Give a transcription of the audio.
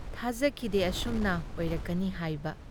ꯊꯥꯖꯈꯤꯗꯦ ꯑꯁꯨꯝꯅ ꯑꯣꯏꯔꯛꯀꯅꯤ ꯍꯥꯏꯕ ꯫